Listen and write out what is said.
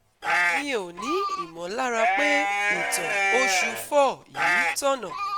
Mi ò ní ìmọ̀lára pé ìtàn oṣù four yìí tọ̀nà